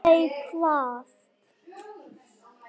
Nei, hvað?